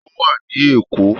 Ó wà ní Èkó